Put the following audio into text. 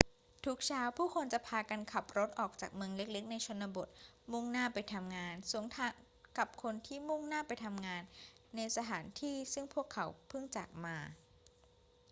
ทุกเช้าผู้คนจะพากันขับรถออกจากเมืองเล็ก ๆ ในชนบทมุ่งหน้าไปทำงาน สวนทางกับคนที่มุ่งหน้าไปทำงานในสถานที่ซึ่งพวกเขาเพิ่งจากมา